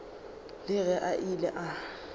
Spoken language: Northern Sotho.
le ge a ile a